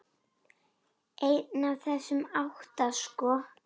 Einn af þessum átta, sko.